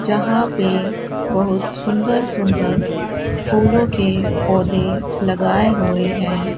यहां पे बहुत सुंदर सुंदर फूलों के पौधे लगाए हुए हैं।